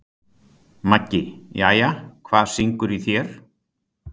Maggi: Jæja, hvað syngur í þér?